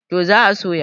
to za a soya